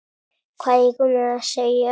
Hvað eigum við að segja?